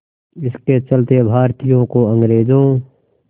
इसके चलते भारतीयों को अंग्रेज़ों